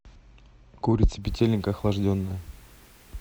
курица петелинка охлажденная